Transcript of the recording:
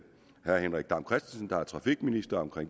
trafikministeren